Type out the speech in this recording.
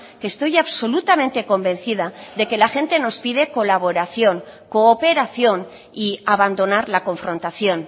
que estoy absolutamente convencida de que la gente nos pide colaboración cooperación y abandonar la confrontación